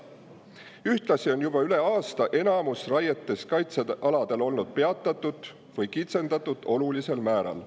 Ühtlasi on juba üle aasta enamus raietest kaitsealadel olnud peatatud või neid on kitsendatud olulisel määral.